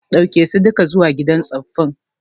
Daukeso duka izuwa gidan tsufi